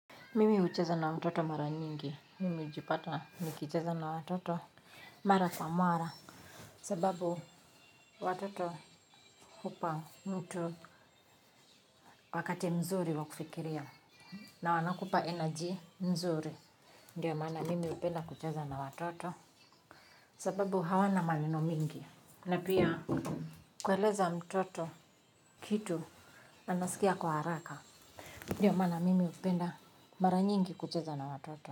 Mimi hucheza na watoto mara mingi. Mimi hujipata nikicheza na watoto mara kwa mara kwa sababu watoto hupa mtu wakati mzuri wa kufikiria na wanakupa energy mzuri ndiyo maana mimi hupenda kucheza na watoto sababu hawana maneno mingi na pia kueleza mtoto kitu anasikia kwa haraka ndiyo mana mimi hupenda mara nyingi kucheza na watoto.